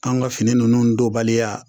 An ka fini ninnu dɔnbaliya